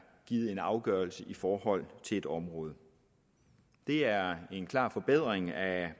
givet en afgørelse i forhold til et område det er en klar forbedring af